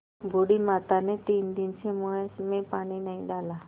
बूढ़ी माता ने तीन दिन से मुँह में पानी नहीं डाला